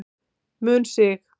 mun stig